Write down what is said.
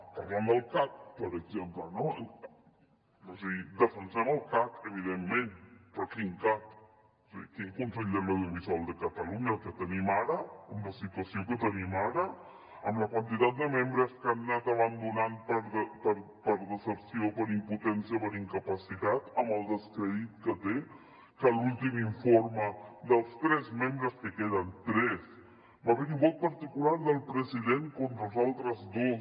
parlant del cac per exemple no és a dir defensem el cac evidentment però quin cac és a dir quin consell de l’audio visual de catalunya el que tenim ara amb la situació que tenim ara amb la quantitat de membres que han anat abandonant per decepció per impotència per incapacitat amb el descrèdit que té que en l’últim informe dels tres membres que queden tres va haver hi un vot particular del president contra els altres dos